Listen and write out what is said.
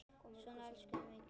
Svona elska ég þig mikið.